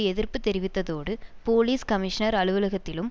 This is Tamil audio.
எதிர்ப்பு தெரிவித்ததோடு போலீஸ் கமிஷனர் அலுவலகத்திலும்